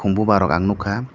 kom boba rok ang nogkha.